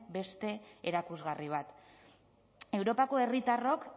beste erakusgarri bat europako herritarrok